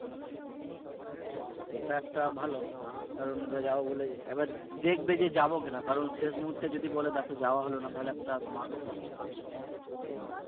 হ্যাঁ সেটা একটা ভালো কারন আমরা যাবো বলে একবার দেখবে যে যাবে কিনা কারন শেষ মূহর্তে যদি বলে দেখো যাওয়া হলো না তাহলে একটা সমস্যার সৃষ্টি হয় বুঝলে উম